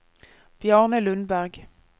Bjarne Lundberg